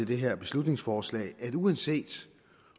det her beslutningsforslag at uanset